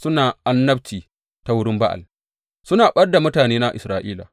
Suna annabci ta wurin Ba’al suna ɓad da mutanena Isra’ila.